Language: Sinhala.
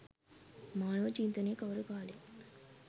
මානව චින්තනයේ කවර කාලයේ